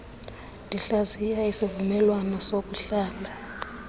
ndihlaziya isivumelwano sokuhlala